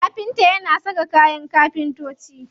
Kafinta yana saka kayan kafintoci.